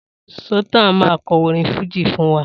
Sultan máa kọ orin fújì fún wa